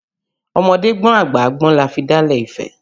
Ọmọdé gbọ́n àgbà gbọ́n la fi dálẹ̀ ifẹ̀